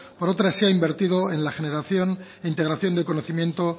por otra se ha invertido en la generación e integración de conocimiento